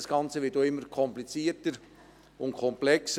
Das Ganze Prozedere wird auch immer komplizierter und komplexer.